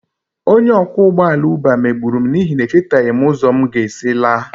Onye ọkwọ ụgbọ ala Uber megburu m n'ihi na echetaghị m ụzọ m ga-esi laa